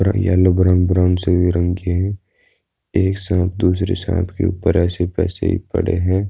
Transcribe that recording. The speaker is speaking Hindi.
येलो ब्राउन ब्राउन से भी रंग के हैं। एक सांप दूसरे सांप के ऊपर ऐसे पड़े हैं।